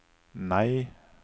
nei